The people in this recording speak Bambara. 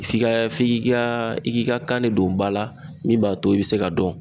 F'i ka f'i k'i ka i k'i ka kan de don ba la min b'a to i bɛ se ka dɔn.